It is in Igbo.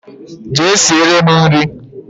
Jee siere m nri